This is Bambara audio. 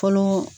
Fɔlɔ